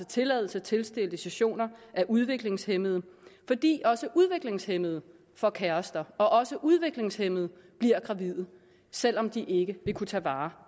tilladelser til sterilisationer af udviklingshæmmede fordi også udviklingshæmmede får kærester og også udviklingshæmmede bliver gravide selv om de ikke vil kunne tage vare